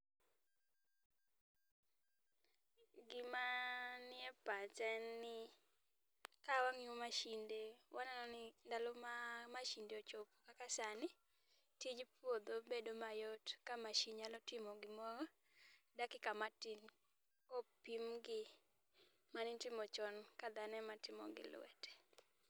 Gima nie pacha en ni kawang'iyo mashinde, waneno ni ndalo ma mashinde ochopo kaka sani, tij puodho bedo mayot ka machine nyalo timoro gimoro, dakika matin ka opim gi mane itimo chon ka dhano ema timo gi lwete.